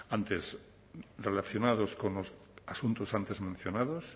antes relacionados con los asuntos antes mencionados